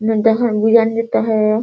बिरयानी देता है |